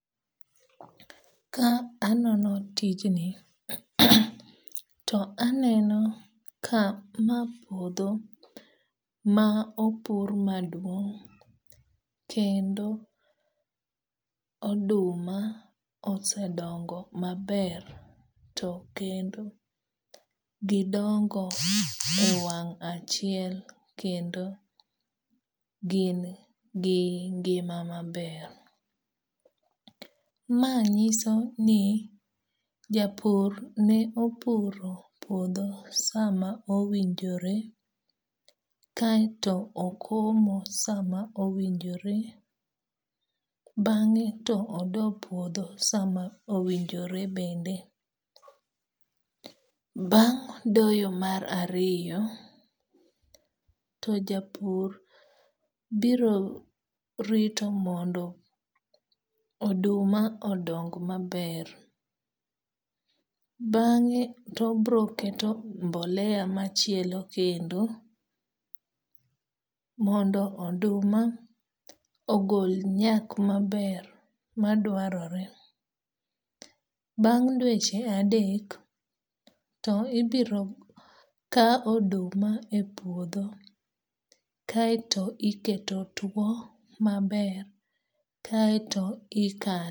Ka anono tijni, to aneno ka ma puodho ma opur maduong' kendo oduma osedongo maber to kendo gidongo e wang' achiel kendo gin gi ngima maber. Ma nyiso ni japur ne opuro puodho sama owinjore kaeto okomo sama owinjore. Bang'e to odo puodho sama owinjore bende. Bang' doyo mar ariyo, to japur biro rito mondo oduma odong maber. Bang'e to obiro keto mboleya machielo kendo mondo oduma ogol nyak maber madwarore. Bang' dweche adek to ibiro ka oduma e puodho kaeto iketo tuo maber kaeto ikane.